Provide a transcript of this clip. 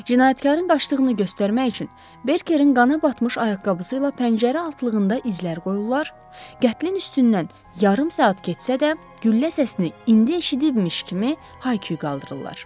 Cinayətkarın qaçdığını göstərmək üçün Berkerin qana batmış ayaqqabısı ilə pəncərə altlığında izlər qoyurlar, qətlin üstündən yarım saat keçsə də, güllə səsini indi eşitmişmiş kimi hay-küy qaldırırlar.